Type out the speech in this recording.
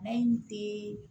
An tɛ